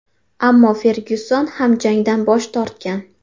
Ammo Fergyuson ham jangdan bosh tortgan.